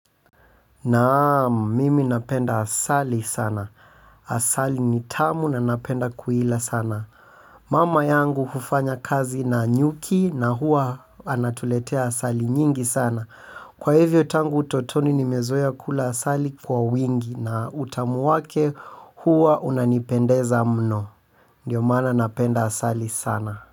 Naam, mimi napenda asali sana. Asali ni tamu na napenda kuila sana. Mama yangu hufanya kazi na nyuki na huwa anatuletea asali nyingi sana. Kwa hivyo tangu utotoni nimezoea kula asali kwa wingi na utamu wake huwa unanipendeza mno. Ndiyo maana napenda asali sana.